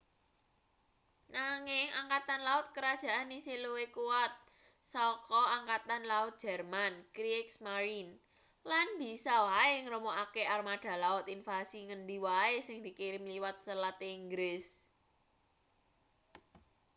nanging angkatan laut kerajaan isih luwih kuwat saka angkatan laut jerman kriegsmarine” lan bisa wae ngremukake armada laut invasi ngendi wae sing dikirim liwat selat inggris